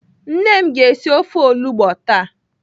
Nne m ga-esi ofe olugbo taa.